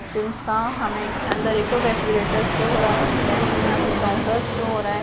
का हमे अंदर एक रेफ्रिजरेटर शो हो रहा है देन हमें यहां पे काउंटर्स शो हो रहा है।